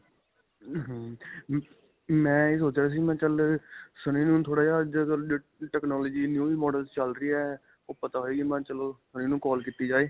ਹਮਮ ਮੈਂ ਇਹ ਸੋਚ ਰਿਹਾ ਸੀ. ਮੈਂ ਕਿਹਾ ਚੱਲ ਸੰਨੀ ਨੂੰ ਥੋੜਾ ਜਿਹਾ technology new model ਚੱਲ ਰਹੀ ਹੈ. ਓਹ ਪਤਾ ਹੋਏਗੀ ਮੈਂ ਚਲੋ ਸੰਨੀ ਨੂੰ call ਕੀਤੀ ਜਾਏ.